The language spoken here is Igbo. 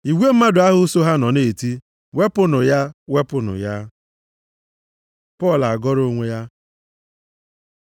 Igwe mmadụ ahụ so ha nọ na-eti mkpu, “Wepụnụ ya! Wepụnụ ya!” Pọl agọrọ onwe ya